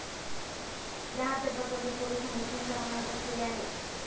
या हत्येप्रकरणी पोलिसांनी तीन जणांना अटक केली आहे.